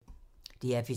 DR P3